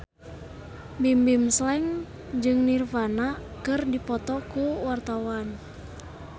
Bimbim Slank jeung Nirvana keur dipoto ku wartawan